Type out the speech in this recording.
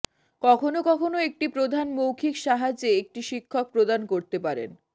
কখনও কখনও একটি প্রধান মৌখিক সাহায্যে একটি শিক্ষক প্রদান করতে পারেন